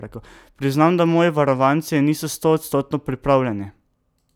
Priznam, da moji varovanci niso stoodstotno pripravljeni.